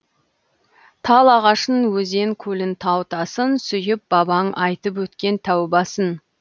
тал ағашын өзен көлін тау тасын сүйіп бабаң айтып өткен тәубасын